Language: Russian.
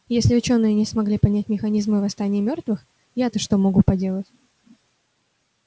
если учёные не смогли понять механизмы восстания мёртвых я то что могу поделать